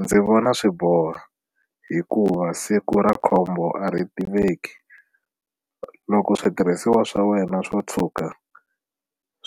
Ndzi vona swi boha hikuva siku ra khombo a ri tiveki loko switirhisiwa swa wena swo tshuka